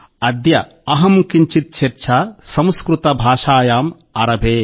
అద్య అహం కించిత్ చర్చా సంస్కృత భాషాయాం ఆరభే